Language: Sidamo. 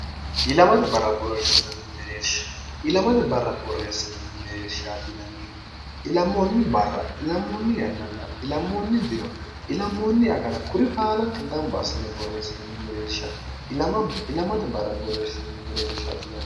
ilamate barra borreessinanni mereershtnnnihu ilamoonni barra ilammoonni yannanna ilamoonni diro ilammoonni agana kuri baalanka gamba asine borreessinanni mereersha ilamate barra borreersinnni mereer sn